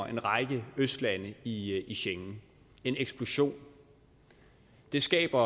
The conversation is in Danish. en række østlande i i schengen en eksplosion det skaber